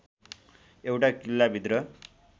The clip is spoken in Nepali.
एउटा किल्ला भित्र